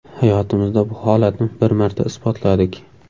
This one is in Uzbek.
Hayotimizda bu holatni bir marta isbotladik.